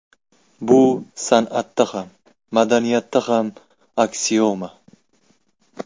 Bu san’atda ham, madaniyatda ham aksioma!